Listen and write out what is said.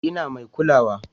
Ina mai kulawa?